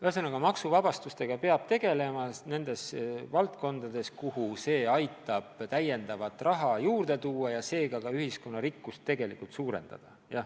Ühesõnaga, maksuvabastused võiksid olla nendes valdkondades, kuhu see aitab täiendavat raha juurde tuua ja seega ka ühiskonna rikkust tegelikult suurendada.